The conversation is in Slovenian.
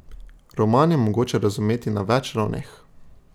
Roman je mogoče razumeti na več ravneh.